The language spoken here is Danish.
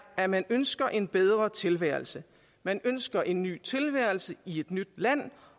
at man ønsker en bedre tilværelse man ønsker en ny tilværelse i et nyt land